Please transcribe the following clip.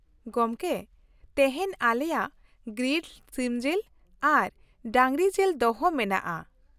ᱜᱚᱝᱠᱮ, ᱛᱮᱦᱮᱧ ᱟᱞᱮᱭᱟᱜ ᱜᱨᱤᱞᱰ ᱥᱤᱢᱡᱤᱞ ᱟᱨ ᱰᱟᱺᱜᱽᱨᱤᱡᱤᱞ ᱫᱚᱦᱚ ᱢᱮᱱᱟᱜᱼᱟ ᱾